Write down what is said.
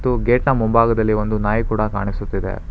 Gate ನ ಮುಂಭಾಗದಲ್ಲಿ ಒಂದು ನಾಯಿ ಕೂಡ ಕಾಣಿಸುತ್ತಿದೆ.